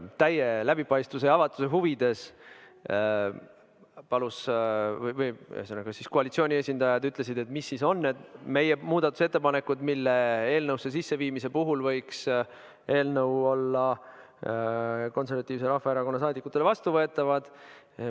Täie läbipaistvuse ja avatuse huvides – ühesõnaga, koalitsiooni esindajad küsisid, millised on meie muudatusettepanekud, mille eelnõusse sisseviimise puhul võiks eelnõu olla Eesti Konservatiivse Rahvaerakonna fraktsioonile vastuvõetav.